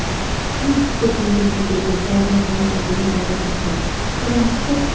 gift packing tu huishe koile tu purple colour para paint kurina ase tai khan sob tu --